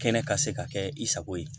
Kɛnɛ ka se ka kɛ i sago ye